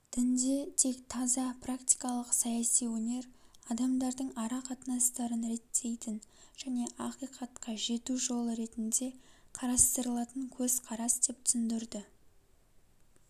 дінде тек таза практикалық саяси өнер адамдардың ара-қатынастарын реттейтін және ақиқатқа жету жолы ретінде қарастырылатын көзқарас деп түсіндірді